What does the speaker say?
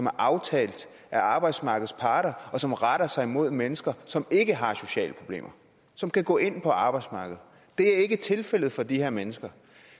aftalt af arbejdsmarkedets parter og som retter sig mod mennesker som ikke har sociale problemer og som kan gå ind på arbejdsmarkedet det er ikke tilfældet for de her mennesker